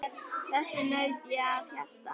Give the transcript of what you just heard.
Þess naut ég af hjarta.